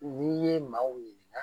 N'i ye maaw ɲininka